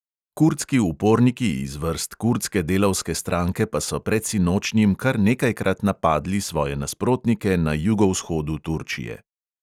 Kurdski uporniki iz vrst kurdske delavske stranke pa so predsinočnjim kar nekajkrat napadli svoje nasprotnike na jugovzhodu turčije.